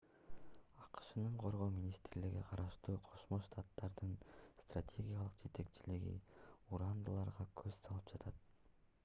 акшнын коргоо министрлигине караштуу кошмо штаттардын стратегиялык жетекчилиги урандыларга көз салып жатат